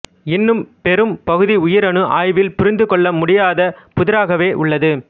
இன்னும் பெரும் பகுதி உயிரணு ஆய்வில் புரிந்து கொள்ள முடியாத புதிராகவே உள்ளது